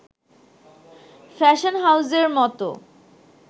fashion হাউসের মতো